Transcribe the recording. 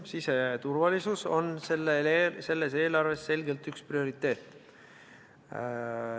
Siseturvalisus on selles eelarves selgelt üks prioriteet.